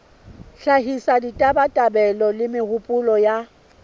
hlahisa ditabatabelo le mehopolo ya